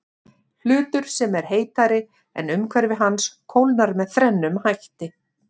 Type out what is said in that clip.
Hlutur sem er heitari en umhverfi hans kólnar með þrennum hætti.